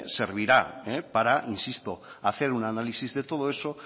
servirá para insisto hacer un análisis de todo eso